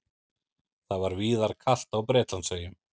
Það var víðar kalt á Bretlandseyjum